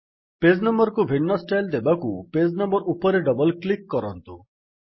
page number କୁ ଭିନ୍ନ style ଦେବାକୁ ପେଜ୍ ନମ୍ୱର୍ ଉପରେ ଡବଲ୍ କ୍ଲିକ୍ କରନ୍ତୁ